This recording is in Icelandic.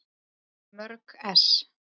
Mörg ess.